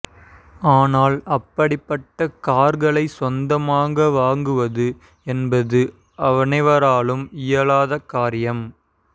ஆனால் அப்படிப்பட்ட கார்களை சொந்தமாக வாங்குவது என்பது அனைவராலும் இயலாத காரியம்